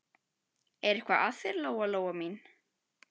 Er eitthvað að þér, Lóa Lóa mín?